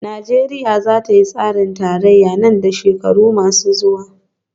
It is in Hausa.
Najeriya za ta yi tsarin tarayya nan da shekaru masu zuwa